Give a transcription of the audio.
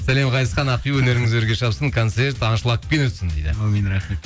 сәлем ғазизхан ақбибі өнеріңіз өрге шапсын концерт аншлагпен өтсін дейді аумин рахмет